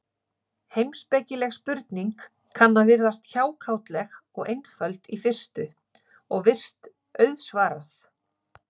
Heimspekileg spurning kann að virðast hjákátleg og einföld í fyrstu, og virst auðsvarað.